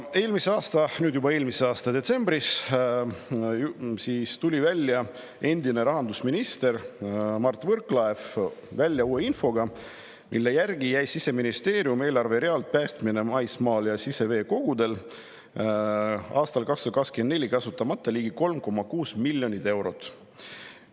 Eelmise aasta detsembris ehk nüüd juba eelmisel aastal tuli endine rahandusminister Mart Võrklaev välja uue infoga, et Siseministeeriumi eelarverealt "Päästmine maismaal ja siseveekogudel" jäi aastal 2024 kasutamata ligi 3,6 miljonit eurot.